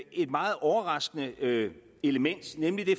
et meget overraskende element nemlig det